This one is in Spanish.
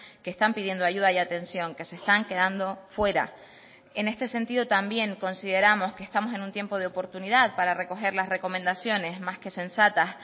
que están pidiendo ayuda y atención que se están quedando fuera en este sentido también consideramos que estamos en un tiempo de oportunidad para recoger las recomendaciones más que sensatas